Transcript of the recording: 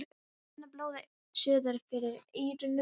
Finn að blóðið suðar fyrir eyrunum.